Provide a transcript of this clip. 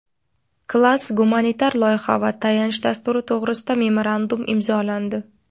"Klass") gumanitar loyiha va tayanch dasturi to‘g‘risida memorandum imzolandi.